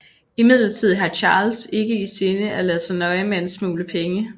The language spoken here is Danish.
Imidlertid har Charles ikke i sinde at lade sig nøje med en smule penge